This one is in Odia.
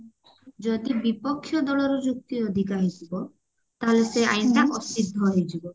ଯଦି ବିପକ୍ଷ୍ୟ ଦଳର ଯୁକ୍ତି ଅଧିକା ହେଇଥିବ ତାହେଲେ ସେ ଆଇନ ତା ଅସିଦ୍ଧ ହେଇଯିବ